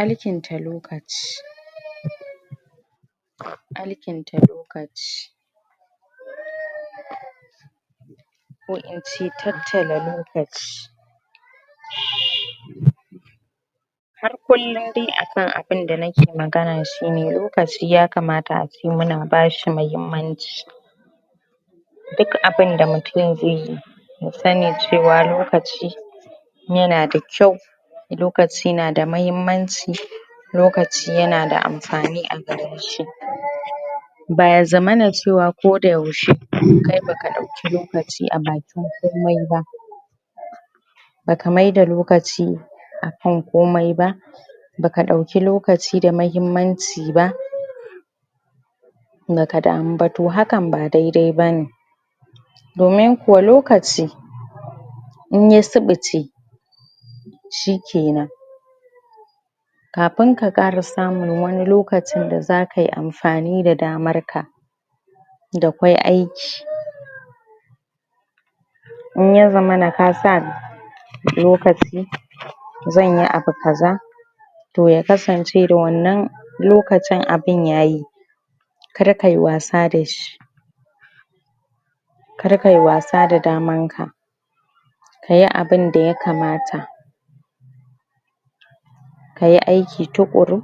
alkinta lokaci alkinta lokaci ko in ce tattala lokaci har kullum dai akan abinda nake magana shine lokaci ya kamata ace muna bashi mahimmanci dik abinda mutum zai yi ya sani cewa lokaci yana da kyau lokaci yana da mahimmanci lokaci yana da amfani a gare shi ba ya zamana cewa ko da yaushe kai baka dauki lokaci a bakin komai ba baka maida lokaci akan komai ba baka dauki lokaci da mahimmanci ba baka damu ba toh hakan ba dai dai bane domin kuwa lokaci in ya subuce shikenan kafin ka kara samun wani lokacin da zakayi amfani da damar ka da kwai aiki in ya zamana kasa lokaci zanyi abu kaza toh ya kasance da wannan lokacin abin yayi kar kayi wasa dashi kar kayi wasa da damar ka kayi abinda ya kamata kayi aiki tukuru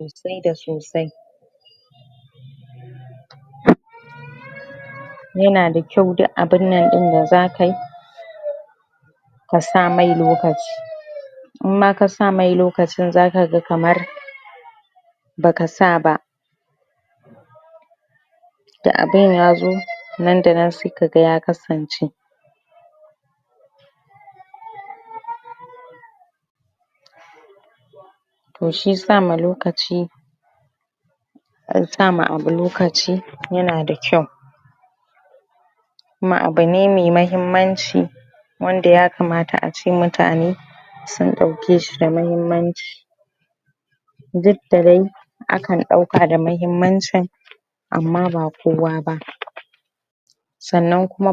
sosai da sosai yana da kyau dik abin nan din da zakayi ka sa mai lokaci in ma ka sa mai lokacin zaka ga kamar baka sa ba da abin yazo nan da nan sai kaga ya kasance, toh shi sama lokaci ka sama abu lokaci yana da kyau kuma abu ne mai mahimmanci wanda ya kamata ace mutane sun dauke shi da mahimmanci duk da dai akan dauka da mahimmancin amma ba kowa ba sannan kuma ba.